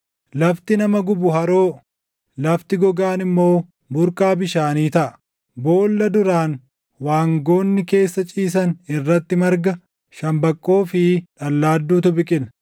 Lafti nama gubu haroo, lafti gogaan immoo burqaa bishaanii taʼa. Boolla duraan waangoonni keessa ciisan irratti marga, shambaqqoo fi dhallaadduutu biqila.